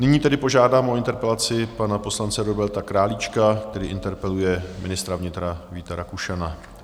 Nyní tedy požádám o interpelaci pana poslance Roberta Králíčka, který interpeluje ministra vnitra Víta Rakušana.